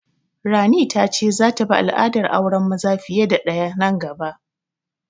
Rani ta ce za ta bi al'adar auren maza fiye da ɗaya nan gaba